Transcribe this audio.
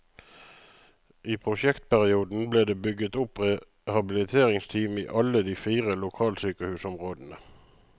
I prosjektperioden ble det bygget opp rehabiliteringsteam i alle de fire lokalsykehusområdene.